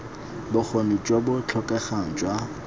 bokgoni jo bo tlhokegang jwa